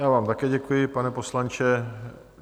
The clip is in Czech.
Já vám také děkuji, pane poslanče.